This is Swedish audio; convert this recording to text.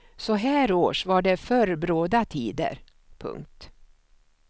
Så här års var det förr bråda tider. punkt